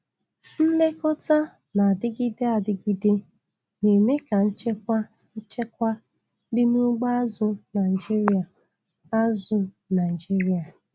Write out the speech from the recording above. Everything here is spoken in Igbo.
Nlekọta na-adịgide adịgide na-eme ka nchekwa nchekwa dị na ugbo azụ̀ Naịjiria. azụ̀ Naịjiria.